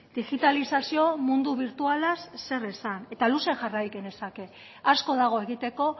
digitalizazio mundu birtualaz zer esan eta luze jarrai genezake asko dago egiteko